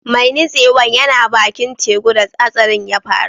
Mai nutsewan yana baki'n tekun da hatsarin ya faru.